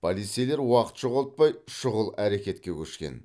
полицейлер уақыт жоғалтпай шұғыл әрекетке көшкен